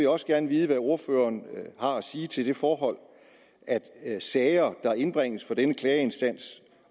også gerne vide hvad ordføreren har at sige til det forhold at sager der indbringes for denne klageinstans